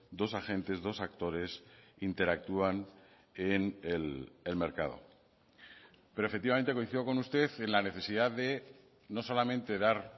dos agentes dos actores interactúan en el mercado pero efectivamente coincido con usted en la necesidad de no solamente dar